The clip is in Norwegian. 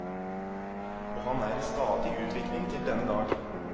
Og han er i stadig utvikling til denne dag.